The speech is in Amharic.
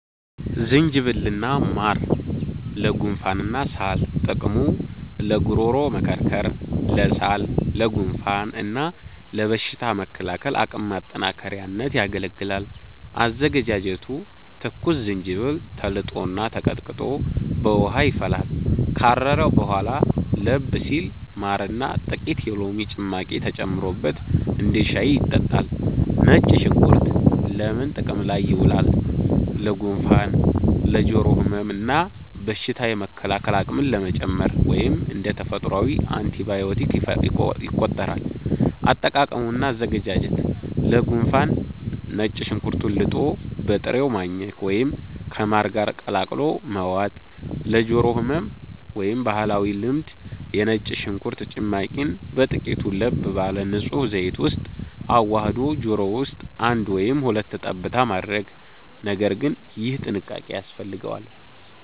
ዝንጅብል እና ማር (ለጉንፋንና ሳል) ጥቅሙ፦ ለጉሮሮ መከርከር፣ ለሳል፣ ለጉንፋን እና ለበሽታ መከላከል አቅም ማጠናከሪያነት ያገለግላል። አዘገጃጀቱ፦ ትኩስ ዝንጅብል ተልጦና ተቀጥቅጦ በውሃ ይፈላል። ካረረ በኋላ ለብ ሲል ማርና ጥቂት የሎሚ ጭማቂ ተጨምሮበት እንደ ሻይ ይጠጣል።. ነጭ ሽንኩርት ለምን ጥቅም ላይ ይውላል? ለጉንፋን፣ ለጆሮ ህመም እና በሽታ የመከላከል አቅምን ለመጨመር (እንደ ተፈጥሯዊ አንቲባዮቲክ ይቆጠራል)። አጠቃቀም እና አዘገጃጀት፦ ለጉንፋን፦ ነጭ ሽንኩርቱን ልጦ በጥሬው ማኘክ ወይም ከማር ጋር ቀላቅሎ መዋጥ። ለጆሮ ህመም (ባህላዊ ልምድ)፦ የነጭ ሽንኩርት ጭማቂን በጥቂቱ ለብ ባለ ንጹህ ዘይት ውስጥ አዋህዶ ጆሮ ውስጥ አንድ ወይም ሁለት ጠብታ ማድረግ (ነገር ግን ይህ ጥንቃቄ ያስፈልገዋል)።